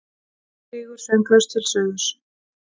Ein flýgur sönglaus til suðurs.